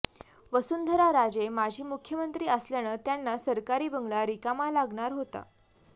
वसुंधरा राजे माजी मुख्यमंत्री असल्यानं त्यांना सरकारी बंगला रिकामा लागणार होता